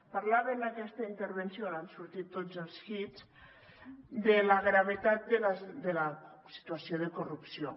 parlava en aquesta intervenció on han sortit tots els hits de la gravetat de la situació de corrupció